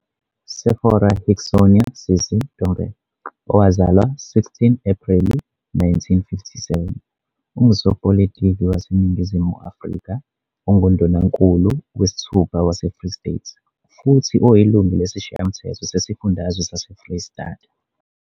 Sefora Hixsonia "Sisi" Ntombela, owazalwa 16 Apreli 1957, ungusopolitiki waseNingizimu Afrika onguNdunankulu wesithupha waseFree State futhi oyilungu lesiShayamthetho sesiFundazwe saseFreyistata.